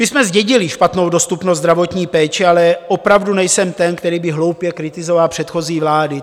My jsme zdědili špatnou dostupnost zdravotní péče, ale opravdu nejsem ten, který by hloupě kritizoval předchozí vlády.